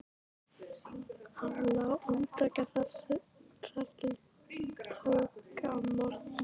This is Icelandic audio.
Hann lá andvaka þar til tók að morgna.